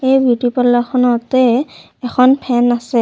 এই beauty parlour খনতে এখন ফেন আছে।